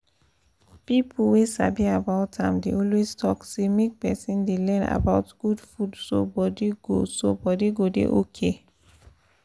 people wey sabi about am dey always talk say make person dey learn about good food so body go so body go dey okay